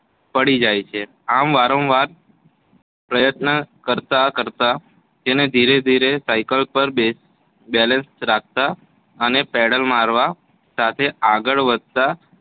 પડી જાય છે. આમ વારંવાર પ્રયત્ન કરતાં કરતાં તેને ધીરે ધીરે સાયકલ પર બેલેન્સ રાખતાં અને પેડલ મારવા સાથે આગળ વધતાં